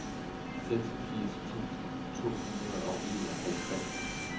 seksogfirs tusind to hundrede og enoghalvtreds